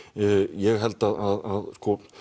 ég held að